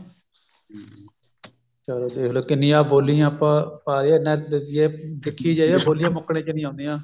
ਚਲੋ ਦੇਖਲੋ ਕਿੰਨੀਆਂ ਬੋਲੀਆਂ ਆਪਾਂ ਪਾਈ ਜਾਂਦੇ ਆ ਜੇ ਦੇਖਿਆ ਜਾਏ ਬੋਲੀਆਂ ਮੁੱਕਣ ਚ ਨਹੀਂ ਆਉਂਦੀਆਂ